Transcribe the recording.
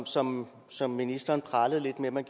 som som ministeren pralede lidt med at man